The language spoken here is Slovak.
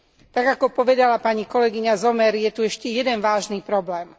Tak ako povedala pani kolegyňa Sommer, je tu ešte jeden vážny problém.